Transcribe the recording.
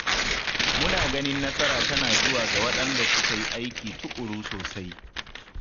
Muna ganin nasara tana zuwa ga waɗanda suka yi aiki tukuru sosai